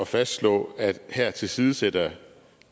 fastslå at her tilsidesætter